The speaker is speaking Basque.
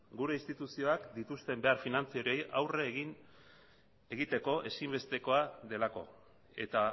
gure instituzioak dituzten finantza horiei aurre egiteko ezinbestekoa delako eta